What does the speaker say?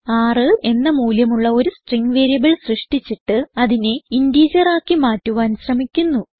6 എന്ന മൂല്യമുള്ള ഒരു സ്ട്രിംഗ് വേരിയബിൾ സൃഷ്ടിച്ചിട്ട് അതിനെ ഇന്റിജർ ആക്കി മാറ്റുവാൻ ശ്രമിക്കുന്നു